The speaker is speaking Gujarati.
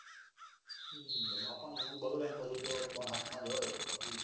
હમ બાપાની ઉંગ બગડે ને ફોન હાથ માં જ હોય તો પછી